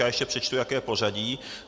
Já ještě přečtu, jaké je pořadí.